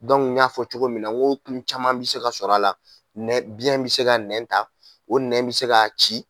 Dɔnkun y'a fɔ cogo min na wo tun caman bɛ se ka sɔrɔ a la, biyɛn bɛ se ka nɛn ta o nɛn bɛ se ka ci!